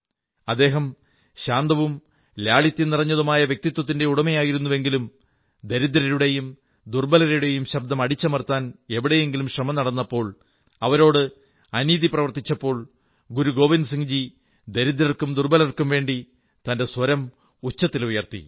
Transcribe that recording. അദ്ദേഹം ശാന്തവും ലാളിത്യം നിറഞ്ഞതുമായ വ്യക്തിത്വത്തിന്റെ ഉടമയായിരുന്നുവെങ്കിലും ദരിദ്രരുടെയും ദുർബ്ബലരുടെയും ശബ്ദം അടിച്ചമർത്താൻ എവിടെയെങ്കിലും ശ്രമം നടന്നപ്പോൾ അവരോട് അനീതി പ്രവർത്തിച്ചപ്പോൾ ഗുരു ഗോവിന്ദസിംഹ്ജി ദരിദ്രർക്കും ദുർബലർക്കുംവേണ്ടി തന്റെ സ്വരം ഉച്ചത്തിൽ ഉയർത്തി അതുകൊണ്ടാണ് പറയുന്നത്